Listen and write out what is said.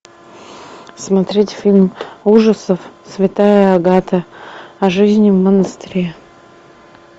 смотреть фильм ужасов святая агата о жизни в монастыре